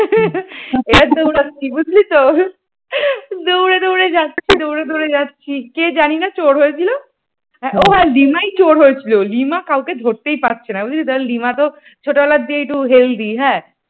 বুঝলি তো দৌড়ে দৌড়ে যাচ্ছে দৌড়ে দৌড়ে যাচ্ছি কে জানিনা চোর হয়েছিল ও হ্যাঁ লিমায় চোর হয়েছিল। লিমা কাউকে ধরতেই পারছিনা বুঝলি তো লিমা তো ছোটবেলা থেকেই একটু healthy হ্যাঁ